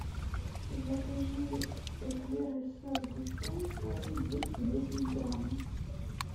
закажи эклеры со сгущенкой двести десять грамм